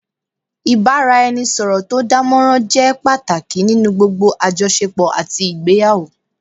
Ìbáraẹnisọ̀rọ̀ tó dánmọrán jẹ́ pàtàkì nínú gbogbo àjọṣepọ̀ àti ìgbéyàwó